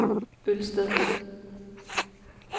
Ølsted